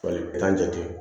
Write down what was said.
Fali t'a jate